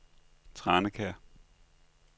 Tranekær